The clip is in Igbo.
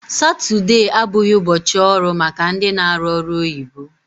Satude abụghị ụbọchị ọrụ maka ndị na arụ ọrụ oyibo